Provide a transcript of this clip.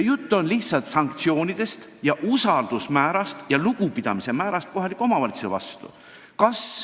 Pean silmas sanktsioone ning meie usaldust ja lugupidamist kohaliku omavalitsuse vastu.